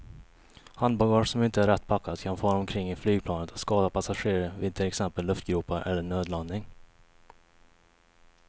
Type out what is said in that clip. Handbagage som inte är rätt packat kan fara omkring i flygplanet och skada passagerare vid till exempel luftgropar eller nödlandning.